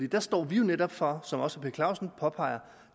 der står vi jo netop for som også herre per clausen påpeger